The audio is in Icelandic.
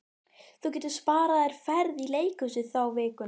Þú getur sparað þér ferð í leikhús þá vikuna.